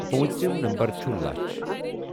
پٲنٛژِم نمبر چھُ لچھ ۔